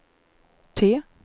T